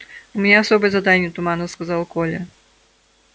у меня особое задание туманно сказал коля